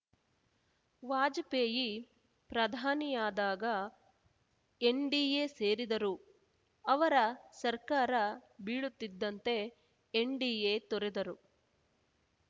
ವಾಜಪೇಯಿ ಪ್ರಧಾನಿಯಾದಾಗ ಎನ್‌ಡಿಎ ಸೇರಿದರು ಅವರ ಸರ್ಕಾರ ಬೀಳುತ್ತಿದ್ದಂತೆ ಎನ್‌ಡಿಎ ತೊರೆದರು